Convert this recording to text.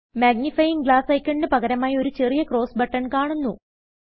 magnifying glass icon ന് പകരമായി ഒരു ചെറിയ ക്രോസ് ബട്ടൺ കാണുന്നു